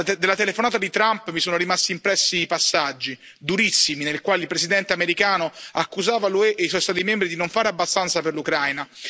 Della telefonata di Trump mi sono rimasti impressi i passaggi, durissimi, nei quali il Presidente americano accusava l'UE e i suoi Stati membri di non fare abbastanza per l'Ucraina.